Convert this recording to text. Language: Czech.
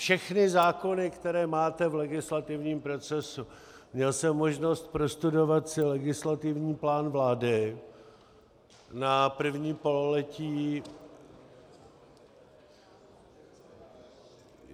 Všechny zákony, které máte v legislativním procesu, měl jsem možnost prostudovat si legislativní plán vlády na první pololetí...